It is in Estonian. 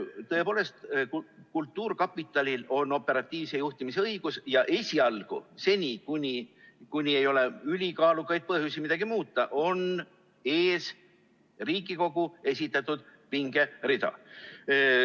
Tõepoolest, kultuurkapitalil on operatiivse juhtimise õigus ja esialgu, seni kuni ei ole ülikaalukaid põhjusi midagi muuta, on ees Riigikogu esitatud pingerida.